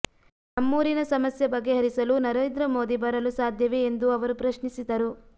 ನಮ್ಮೂರಿನ ಸಮಸ್ಯೆ ಬಗೆಹರಿಸಲು ನರೇಂದ್ರ ಮೋದಿ ಬರಲು ಸಾಧ್ಯವೆ ಎಂದು ಅವರು ಪ್ರಶ್ನಿಸಿದರು